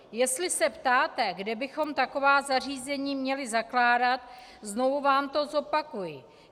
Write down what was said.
Jestli se ptáte, kde bychom taková zařízení měli zakládat, znovu vám to zopakuji.